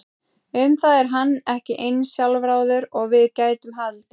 Um það er hann ekki eins sjálfráður og við gætum haldið.